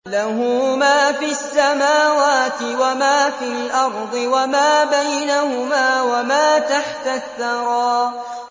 لَهُ مَا فِي السَّمَاوَاتِ وَمَا فِي الْأَرْضِ وَمَا بَيْنَهُمَا وَمَا تَحْتَ الثَّرَىٰ